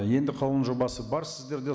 енді қаулының жобасы бар сіздерде